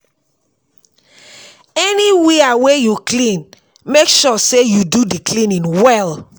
anywia wey yu clean, mek sure say yu do di cleaning well